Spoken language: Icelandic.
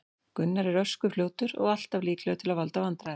Gunnar er ösku fljótur og alltaf líklegur til að valda vandræðum.